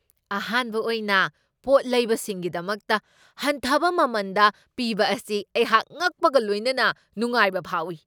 ꯑꯍꯥꯟꯕ ꯑꯣꯏꯅ ꯄꯣꯠ ꯂꯩꯕꯁꯤꯡꯒꯤꯗꯃꯛꯇ ꯍꯟꯊꯕ ꯃꯃꯟꯗ ꯄꯤꯕ ꯑꯁꯤ ꯑꯩꯍꯥꯛ ꯉꯛꯄꯒ ꯂꯣꯏꯅꯅ ꯅꯨꯡꯉꯥꯏꯕ ꯐꯥꯎꯢ ꯫